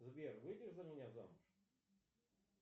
сбер выйдешь за меня замуж